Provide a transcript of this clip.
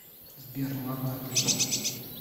сбер ладно отлично